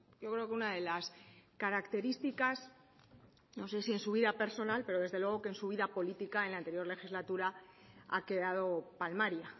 yo creo que una de las características no sé si en su vida personal pero desde luego que en su vida política en la anterior legislatura ha quedado palmaria